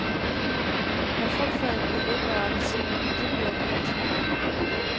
Men frugtfadet med æbler og appelsiner, det bliver vi ikke trætte af.